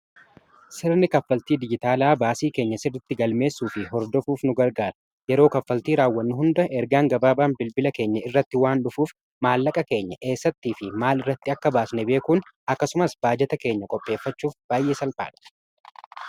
sirni kaffaltii dijitaalaa baasii keenya sirritti galmeessuu fi hordofuuf nu gargaara yeroo kaffaltii raawwanni hunda ergaan gabaabaan bilbila keenya irratti waan dhufuuf maallaqa keenya eessattii fi maal irratti akka baasne beekuun akkasumas baajata keenya qopheeffachuuf baayyee salphaadha.